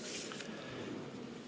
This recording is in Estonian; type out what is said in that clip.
Aitäh!